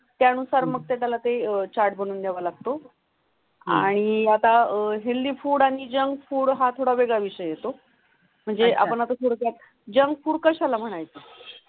त्या अनुसार मग तेदाल्हा ते अह चार्ट बनवूं देवा लागतो आणि आता अं हेल्दी फुड आणि जंक फुड हा थोडा वेगळा विषय येतो. म्हणजे आपण आता थोडय़ा जंक फुड कशाला म्हणायचं